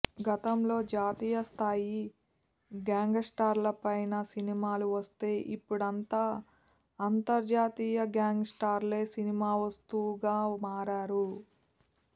గతంలో జాతీయస్థాయి గ్యాంగ్స్టర్లపైన సినిమాలు వస్తే ఇప్పుడంతా అంతర్జాతీయ గ్యాంగ్స్టర్లే సినిమా వస్తువుగా మారారు